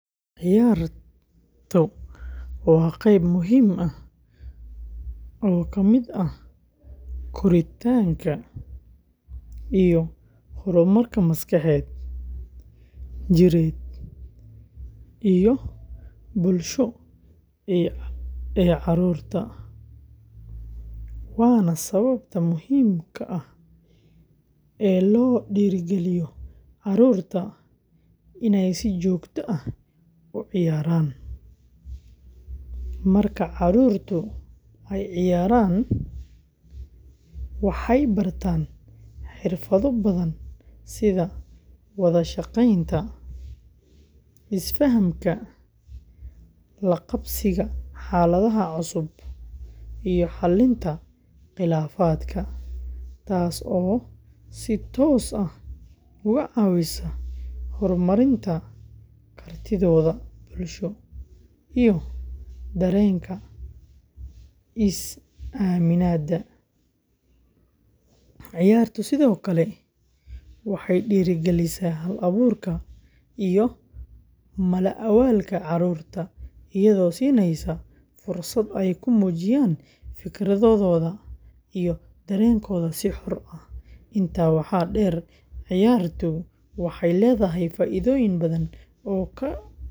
Ciyaartu waa qayb muhiim ah oo ka mid ah koritaanka iyo horumarka maskaxeed, jireed iyo bulsho ee carruurta, waana sababta muhiimka ah ee loo dhirrigeliyo carruurta inay si joogto ah u ciyaaraan. Marka carruurtu ay ciyaarayaan, waxay bartaan xirfado badan sida wada shaqaynta, is-fahamka, la-qabsiga xaaladaha cusub, iyo xallinta khilaafaadka, taasoo si toos ah uga caawisa horumarinta kartidooda bulsho iyo dareenka is-aaminaadda. Ciyaartu sidoo kale waxay dhiirrigelisaa hal-abuurka iyo mala-awaalka carruurta, iyadoo siinaysa fursad ay ku muujiyaan fikradooda iyo dareenkooda si xor ah. Intaa waxaa dheer, ciyaartu waxay leedahay faa’iidooyin badan oo dhanka caafimaadka ah.